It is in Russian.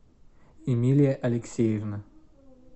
эмилия алексеевна